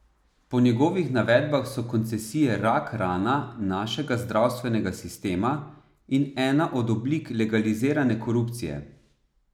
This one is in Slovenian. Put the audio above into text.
Po njegovih navedbah so koncesije rak rana našega zdravstvenega sistema in ena od oblik legalizirane korupcije.